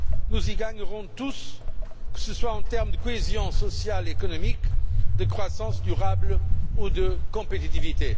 Nous y gagnerons tous, que ce soit en termes de cohésion sociale et économique, de croissance durable ou de compétitivité.